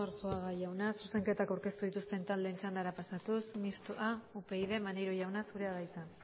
arzuaga jauna zuzenketak aurkeztu dituzten taldeen txandara pasatuz mistoa upyd maneiro jauna zurea da hitza